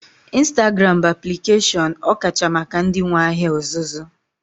Ịnstagram bụ aplikeshọn ọkacha maka ndị nwee ahịa ọzụzụ